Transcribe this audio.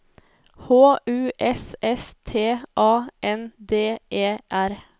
H U S S T A N D E R